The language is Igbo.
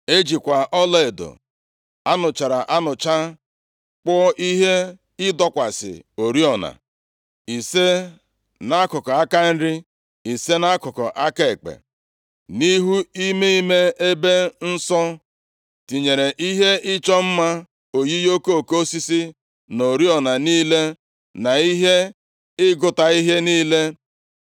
E jikwa ọlaedo a nụchara anụcha kpụọ ihe ịdọkwasị oriọna, ise nʼakụkụ aka nri, ise nʼakụkụ aka ekpe, + 7:49 Nʼụlọ nzute, ọ bụ naanị otu ihe ịdọba oriọna nwere iheọkụ asaa ka e nwere. Ma Solomọn kpụrụ nke nwere iheọkụ iri were dochie nke ochie ahụ. \+xt Ọpụ 25:31-40; 26:35\+xt* nʼihu ime ime ebe nsọ; tinyere ihe ịchọ mma oyiyi okoko osisi, na oriọna niile, na ihe ịgụta ihe niile;